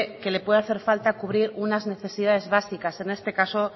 que le puede hacer falta cubrir unas necesidades básicas en este caso